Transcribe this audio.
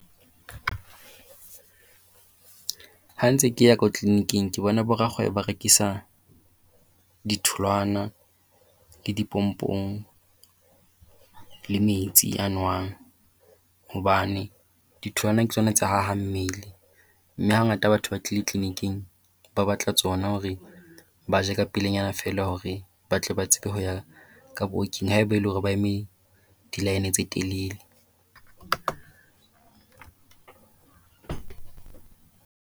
Ha ntse ke ya ko tleliniking ke bona bo rakgwebo ba rekisa ditholowana le dipompong le metsi a nowang. Hobane ditholwane ke tsona tse hahang mmele. Mme hangata ha batho ba tlile tleliniking ba batla tsona hore ba je kapelanyana feela hore ba tle ba tsebe ho ya ka booking ha ebe ele hore ba eme di-line tse telele.